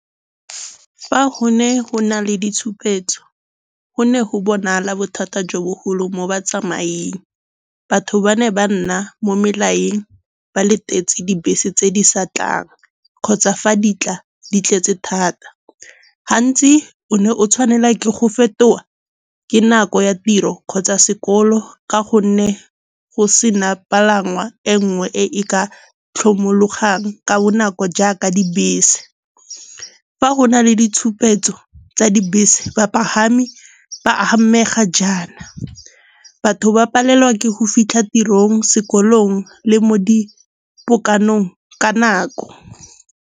Fa go ne go na le ditshupetso go ne go bonala bothata jo bogolo mo batsamaeng. Batho ba ne ba nna mo melaeng, ba latetse dibese tse di sa tlang kgotsa fa di tla di tletse thata. Gantsi o ne o tshwanela ke go fetola ke nako ya tiro kgotsa sekolo ka gonne go sena palangwa e nngwe e e ka tlhomologang ka bonako jaaka dibese. Fa go na le ditshupetso tsa dibese bapagami ba amega jaana, batho ba palelwa ke go fitlha tirong, sekolong le mo dipokanong ka nako.